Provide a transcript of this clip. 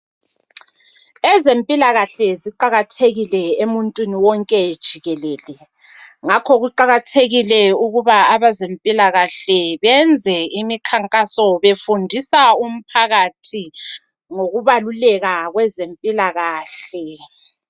Ezempilakahle ziqakathekile emuntwini wonke jikelele. Ngakho kuqakathekile ukuba abezempilakahle benze imikhankaso befundisa umphakathi ngokubaluleka kwezempilakahle.